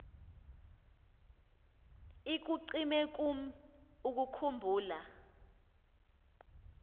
ikucime kum ukukhumbula